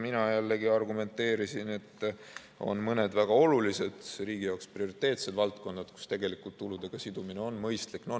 Mina jällegi argumenteerisin, et on mõned väga olulised, riigi jaoks prioriteetsed valdkonnad, kus tuludega sidumine on mõistlik.